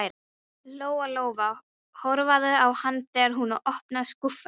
Lóa-Lóa horfði á hana þegar hún opnaði skúffuna.